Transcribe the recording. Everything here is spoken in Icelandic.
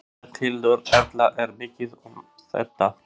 Berghildur Erla: Er mikið um þetta?